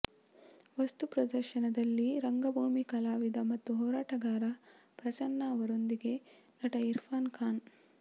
ವಸ್ತು ಪ್ರದರ್ಶನದಲ್ಲಿ ರಂಗಭೂಮಿ ಕಲಾವಿದ ಮತ್ತು ಹೋರಾಟಗಾರ ಪ್ರಸನ್ನ ಅವರೊಂದಿಗೆ ನಟ ಇರ್ಫಾನ್ ಖಾನ್